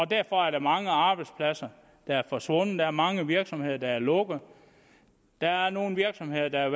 derfor er der mange arbejdspladser der er forsvundet der er mange virksomheder der er lukket der er nogle virksomheder der